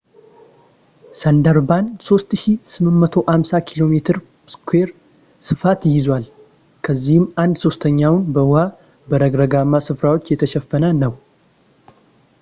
ሰንዳርባን 3,850 ኪ.ሜ² ፣ ስፋት ይይዛል፣ ከዚህም አንድ-ሦስተኛው በውሃ/በረግረግማ ስፍራዎች የተሸፈነ ነው